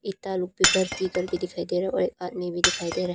दिखाई दे रहा और एक आदमी भी दिखाई दे रहा--